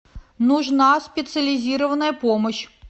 нужна специализированная помощь